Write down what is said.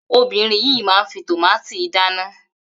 Obìnrin yìí máa ń fi tòmátì dáná.